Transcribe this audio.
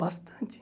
Bastante.